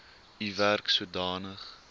u werk sodanig